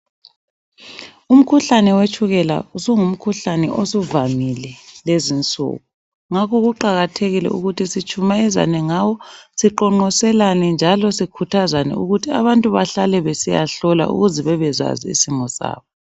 Umkhuhlane wetshukela usungumkhuhlane osuvamile lezinsuku ngakho kuqakathekile ukuthi sitshumayezane ngawo siqonqoselane njalo sikhuthazane ukuthi abantu bahlale besiyahlola ukuze bebezazi isimo sabo.